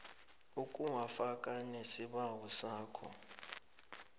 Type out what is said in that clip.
ukuwafaka nesibawo sakho